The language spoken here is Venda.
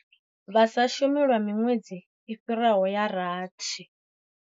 Vha sa shumi lwa miṅwedzi i fhiraho ya rathi.